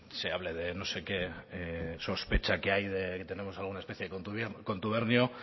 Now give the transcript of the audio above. se hable de no sé qué sospecha que hay de que tenemos alguna especie de contubernio